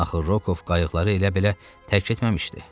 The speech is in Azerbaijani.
Axı Rokov qayıqları elə belə tərk etməmişdi.